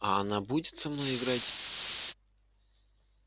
а она будет со мной играть